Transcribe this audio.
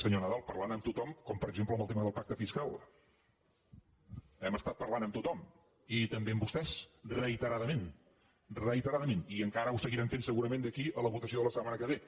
senyor nadal parlant amb tothom com per exemple en el tema del pacte fiscal hem estat parlant amb tothom i també amb vostès reiteradament reiteradament i encara ho seguirem fent segurament d’aquí a la votació de la setmana que ve